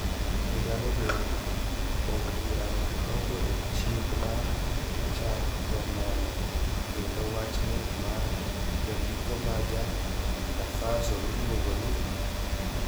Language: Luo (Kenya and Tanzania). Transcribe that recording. E higano bende, od burano nogolo chik mar chako nono kendo wach nek mar jandiko ma ja Burkina Faso miluongo ni Norbert Zongo.